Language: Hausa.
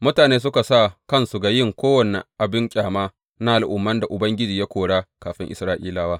Mutane suka sa kansu ga yin kowane abin ƙyama na al’umman da Ubangiji ya kora kafin Isra’ilawa.